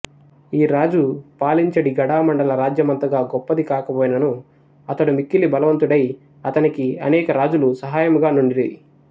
ఈరాజు పాలించెడి గడామండల రాజ్యమంతగా గొప్పది కాకపోయినను అతడు మిక్కిలి బలవంతుడై అతనికి అనేక రాజులు సహాయముగా నుండిరి